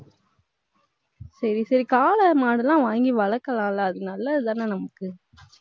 சரி, சரி, காளை மாடுலாம் வாங்கி வளர்க்கலாம்ல அது நல்லதுதானே நமக்கு